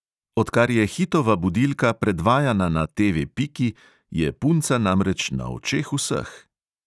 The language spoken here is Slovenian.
Odkar je hitova budilka predvajana na TV piki, je punca namreč na očeh vseh.